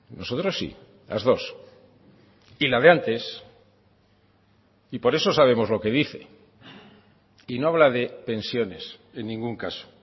nosotros sí las dos y la de antes y por eso sabemos lo que dice y no habla de pensiones en ningún caso